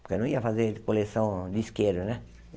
porque eu não ia fazer coleção de isqueiro né.